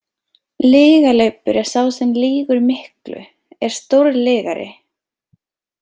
Lygalaupur er sá sem lýgur miklu, er stórlygari.